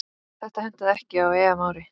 Þetta hentaði ekki á EM-ári.